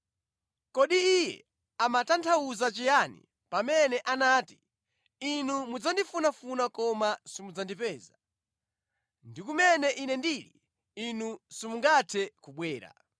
Kodi Iye amatanthauza chiyani pamene anati, ‘Inu mudzandifunafuna koma simudzandipeza,’ ndi ‘Kumene Ine ndili, inu simungathe kubwera?’ ”